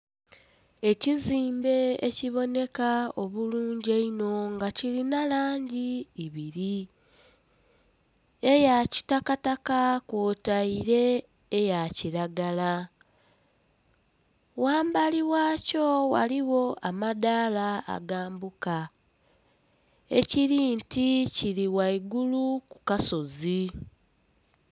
Ekizimbe ekiboneka obulungi einho nga kirina langi ibiri, eya kitakataka kwotaire eya kilagala. Ghambali ghakyo waliwo amadaala agambuka ekiri nti kiri waigulu ku kasozi